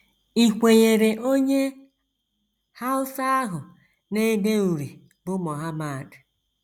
Ì KWENYEERE onye Hausa ahụ na - ede uri bụ́ Mohammad?